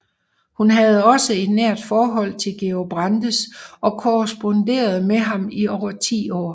Hun havde også et nært forhold til Georg Brandes og korresponderede med ham i over 10 år